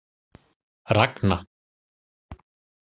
Ragna